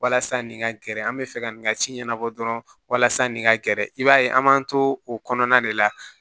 Walasa nin ka gɛrɛ an bɛ fɛ ka nin ka ci ɲɛnabɔ dɔrɔn walasa nin ka gɛrɛ i b'a ye an b'an to o kɔnɔna de la